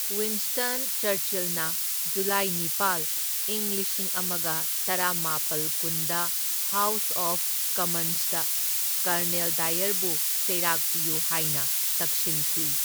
Winston ꯆꯔꯆꯤꯜꯅ ꯖꯨꯂꯥꯏ ꯅꯤꯄꯥꯜ, ꯢꯪ ꯂꯤꯁꯤꯡ ꯑꯃꯒ ꯇꯔꯥꯃꯥꯄꯜ ꯀꯨꯟꯗ ꯍꯥꯎꯁ ꯑꯣꯐ ꯀꯝꯃꯟꯁꯇ ꯀꯔꯅꯦꯜ ꯗꯥꯏꯌꯔꯕꯨ ꯆꯩꯔꯥꯛ ꯄꯤꯌꯨ ꯍꯥꯢꯅ ꯇꯛꯁꯤꯟꯈꯤ꯫